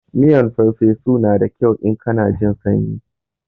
Miyan farfesu na da kyau in kana jin sanyi.